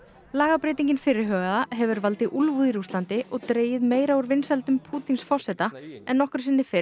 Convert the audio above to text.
lagabreytingin fyrirhugaða hefur valdið úlfúð í Rússlandi og dregið meira úr vinsældum Pútíns forseta en nokkru sinni fyrr